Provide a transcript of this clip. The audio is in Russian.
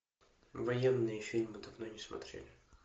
военные фильмы давно не смотрели